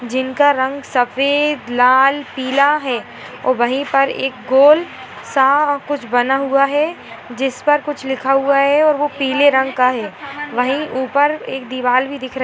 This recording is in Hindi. जिनका रंग सफेद लाल पीला है और वही पर एक गोल सा कुछ बना हुआ है जिसपर कुछ लिखा हुआ है और वो पीले रंग का है वही ऊपर एक दीवाल भी दिख रही --